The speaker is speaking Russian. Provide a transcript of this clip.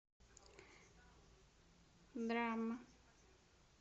драма